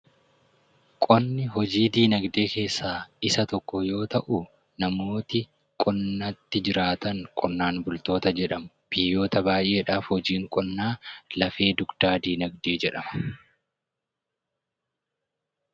Qonni hojii dinagdee keessaa isa tokko yoo ta'u, namoonni qonnatti jiraatan qonnaan bultoota jedhamu. Biyyoota baay'eedhaaf hojiin qonnaa lafee dugdaa dinagdee jedhama.